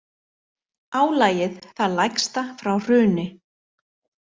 Álagið það lægsta frá hruni